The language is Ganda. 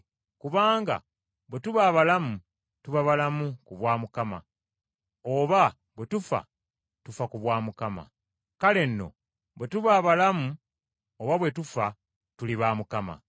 Kubanga bwe tuba abalamu, tuba balamu ku bwa Mukama, oba bwe tufa, tufa ku bwa Mukama. Kale nno bwe tuba abalamu oba bwe tufa, tuli ba Mukama.